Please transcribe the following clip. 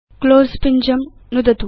close पिञ्जं नुदतु